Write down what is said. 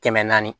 Kɛmɛ naani